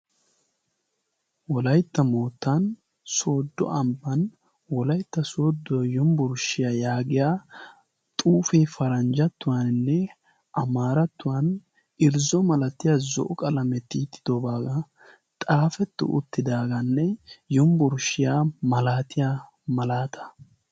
wolaytta moottan sodo ambban wolaytta soodo yumbburshshiyaa yaagiya xuufi paranjjattuwaaninne amaarattuwan irzzo malatiya zo'o qalame tiiyyidobaagaa xaafettu uttidaagaanne yumbburshshiya malaatiya malaata